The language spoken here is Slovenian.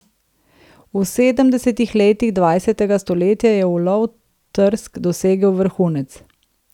V sedemdesetih letih dvajsetega stoletja je ulov trsk dosegel vrhunec.